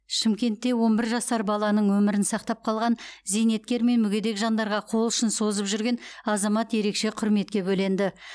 шымкентте он бір жасар баланың өмірін сақтап қалған зейнеткер мен мүгедек жандарға қол ұшын созып жүрген азамат ерекше құрметке бөленді